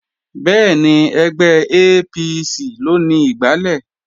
Bẹ́ẹ̀ni, ẹgbẹ́ APC ló ni igbálẹ̀